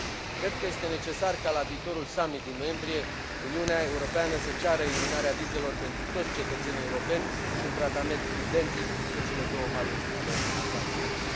Cred că este necesar ca la viitorul summit din noiembrie Uniunea Europeană să ceară eliminarea vizelor pentru toți cetățenii europeni și un tratament identic pe cele două maluri ale Atlanticului.